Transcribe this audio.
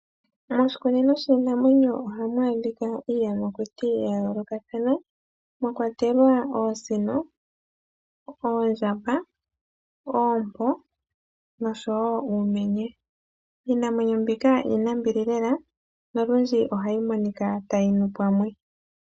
Moshikunino shinamwenyo ohamu adhika iiyamakuti yayolokathana mwakwatelwa oosino, oondjamba, oompo noshowo uumenye. Iinamwenyo mbika iinambili lela nolundji ohayi monika tayi nu pamwe.